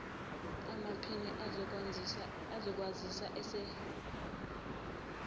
amaphini ezokwazisa asebenzisa